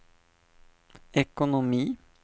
ekonomi